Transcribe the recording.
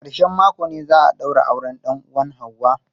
A ƙarshen mako ne za a daura auren dan uwan ​​Hauwa.